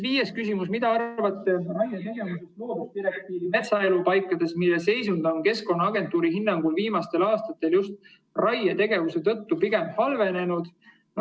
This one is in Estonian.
Viies küsimus: "Mida arvate raietegevusest Loodusdirektiivi metsaelupaikades, mille seisund on Keskkonnaagentuuri hinnangul viimastel aastatel just raietegevuse tõttu pigem halvenenud?